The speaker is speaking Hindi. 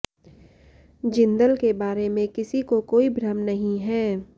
जिंदल के बारे में किसी को कोई भ्रम नहीं है